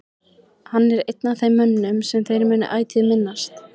Hann er einn af þeim mönnum sem þeir munu ætíð minnast.